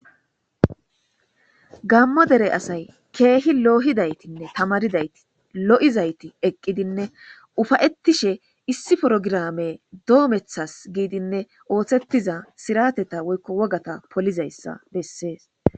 Gammo dere asay keehi loohidaytinne tamaridayti lo7izayti eqqidinne ufayettishe issi porogirame doomethas giidinne ooththettiza sirateta woykko wogata polizayssa bessees.